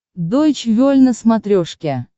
дойч вель на смотрешке